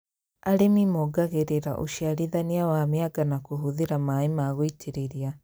Arĩmi mongagĩrĩra ũciarithania wa mĩanga na kũhũthĩra maĩ ma gũitĩrĩria